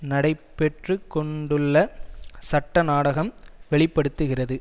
நடைபெற்று கொண்டுள்ள சட்ட நாடகம் வெளி படுத்துகிறது